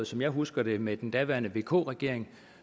som jeg husker det med den daværende vk regering